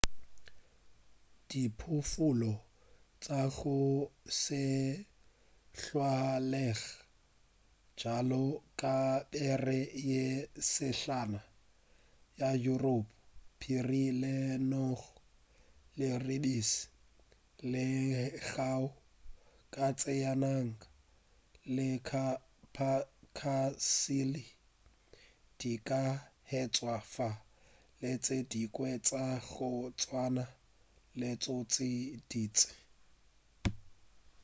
diphoofolo tša go se tlwaelege bjalo ka bera ye sehlana ya yuropa phiri lenong leribiši lengau katse ya naga le capercaillie di ka hwetšwa fa le tše dingwe tša go tswana le tšo tše dintši